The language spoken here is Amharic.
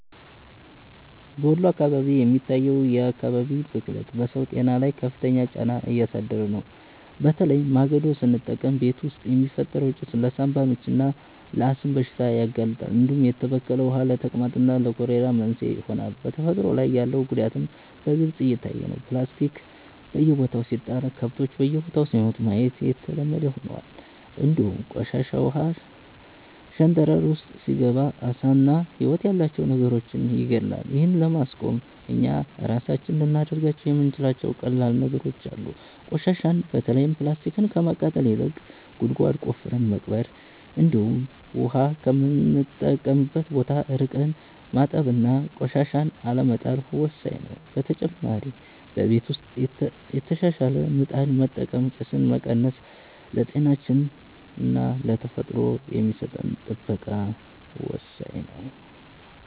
በወሎ አካባቢ የሚታየው የአካባቢ ብክለት በሰው ጤና ላይ ከፍተኛ ጫና እያሳደረ ነው፤ በተለይ ማገዶ ስንጠቀም ቤት ውስጥ የሚፈጠረው ጭስ ለሳንባ ምችና ለአስም በሽታ ያጋልጣል፣ እንዲሁም የተበከለ ውሃ ለተቅማጥና ለኮሌራ መንስኤ ይሆናል። በተፈጥሮ ላይ ያለው ጉዳትም በግልጽ እየታየ ነው፤ ፕላስቲክ በየቦታው ሲጣል ከብቶች በልተው ሲሞቱ ማየት የተለመደ ሆኗል፣ እንዲሁም ቆሻሻ ውሃ ሸንተረር ውስጥ ሲገባ ዓሳና ህይወት ያላቸው ነገሮችን ይገድላል። ይህን ለማቆም እኛ ራሳችን ልናደርጋቸው የምንችላቸው ቀላል ነገሮች አሉ፤ ቆሻሻን በተለይም ፕላስቲክን ከማቃጠል ይልቅ ጉድጓድ ቆፍረን መቅበር፣ እንዲሁም ውሃ ከምንጠቀምበት ቦታ ርቀን ማጠብና ቆሻሻን አለመጣል ወሳኝ ነው። በተጨማሪ በቤት ውስጥ የተሻሻለ ምጣድ በመጠቀም ጭስን መቀነስ ለጤናችንና ለተፈጥሮ የሚሰጠን ጥበቃ ወሳኝ ነው።